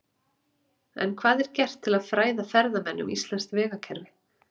En hvað er gert til að fræða ferðamenn um íslenskt vegakerfi?